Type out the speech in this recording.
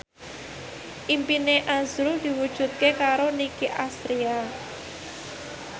impine azrul diwujudke karo Nicky Astria